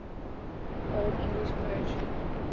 old english poetry